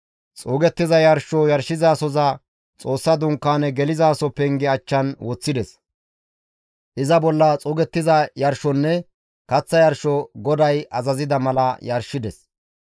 Xuugettiza yarsho yarshizasoza Xoossa Dunkaane gelizaso penge achchan woththides; iza bolla xuugettiza yarshonne kaththa yarsho GODAY azazida mala yarshides.